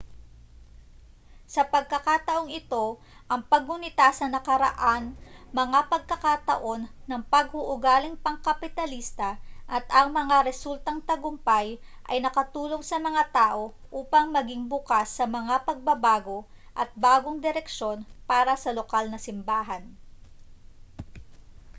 sa pagkakataong ito ang paggunita sa nakaraang mga pagkakataon ng pag-uugaling pangkapitalista at ang mga resultang tagumpay ay nakatulong sa mga tao upang maging bukas sa mga pagbabago at bagong direksyon para sa lokal na simbahan